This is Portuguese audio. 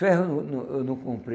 Ferro eu não não eu não comprei.